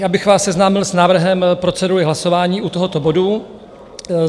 Já bych vás seznámil s návrhem procedury hlasování u tohoto bodu.